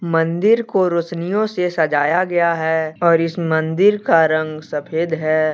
मंदिर को रोशनियों से सजाया गया है और इस मंदिर का रंग सफेद है।